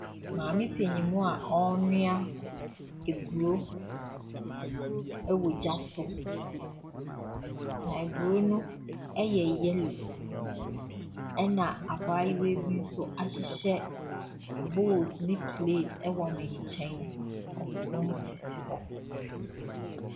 Maame panin a ɔrenoa aburo wɔ gya so. Aburo no yɛ yellow, ɛnna abayewa bi nso ahyehyɛ books ne slate wɔ ne nkyɛn. Ɔt wɔtete hɔ.